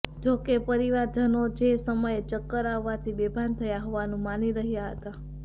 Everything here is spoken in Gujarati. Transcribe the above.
જો કે પરિવારજનો જે તે સમયે ચક્કર આવવાથી બેભાન થયા હોવાનું માની રહ્યા હતા